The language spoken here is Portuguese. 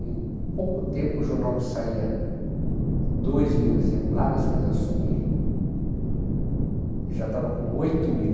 Em pouco tempo, o jornal que saía dois mil exemplares, quando eu assumi, já estava com oito mil.